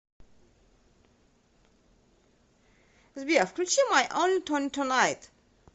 сбер включи май онли тони тунайт